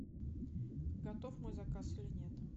готов мой заказ или нет